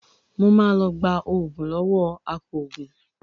Mo máa lọ gba oògùn lọ́wọ́ apòògùn